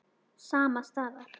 Sama staðar.